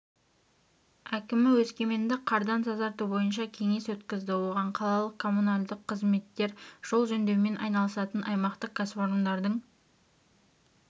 әкімі өскеменді қардан тазарту бойынша кеңес өткізді оған қалалық коммуналдық қызметтер жол жөндеумен айналысатын аймақтық кәсіпорындардың